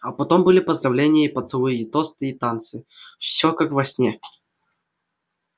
а потом были поздравления и поцелуи и тосты и танцы всё как во сне